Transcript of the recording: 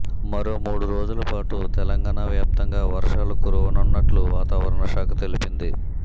మరో మూడు రోజులపాటు తెలంగాణ వ్యాప్తంగా వర్షాలు కురువనున్నట్టు వాతవరణ శాఖ తెలిపింది